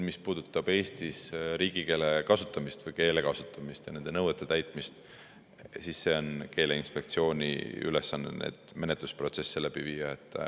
Mis puudutab Eestis riigikeele kasutamist või keele kasutamist ja nende nõuete täitmist, siis keeleinspektsiooni ülesanne on neid menetlusprotsesse läbi viia.